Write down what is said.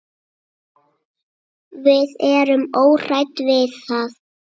Við erum óhrædd við það.